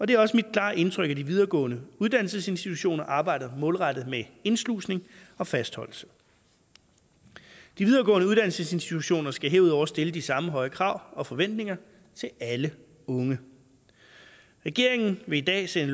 det er også mit klare indtryk at de videregående uddannelsesinstitutioner arbejder målrettet med indslusning og fastholdelse de videregående uddannelsesinstitutioner skal herudover stille de samme høje krav og forventninger til alle unge regeringen vil i dag sende